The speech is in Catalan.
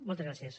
moltes gràcies